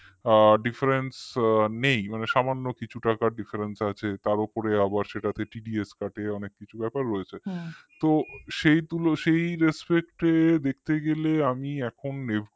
আ difference নেই সামান্য কিছু টাকার difference আছে তার উপরে আবার সেটাতে TDS কাটে অনেক কিছু ব্যাপার রয়েছে তো সেই তুলো সেই respect দেখতে গেলে আমি এখন FD